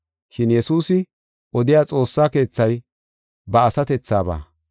Shin Yesuusi odiya Xoossa Keethay ba asatethaba.